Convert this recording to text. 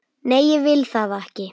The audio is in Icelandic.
Nei, ég vil það ekki.